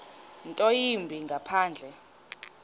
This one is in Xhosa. nto yimbi ngaphandle